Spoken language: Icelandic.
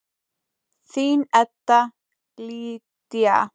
Þín Edda Lydía.